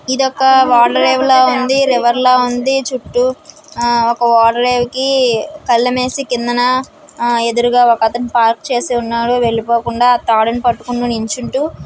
ఇదొక ఓడరేవులా ఉంది రివర్ లా ఉంది. చుట్టూ ఆ ఒక ఓడరేవుకి కళ్లెం వేసి కిందన ఆ ఎదురుగా ఒకతను పార్క్ చేసి ఉన్నాడు వెళ్లిపోకుండా ఆ తాడును పట్టుకొని నిల్చుంటు.